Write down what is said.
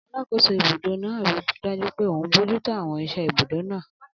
Alàkóso ibùdó náà ríi dájú pé òun bojútó àwọn iṣẹ́ ibùdó náà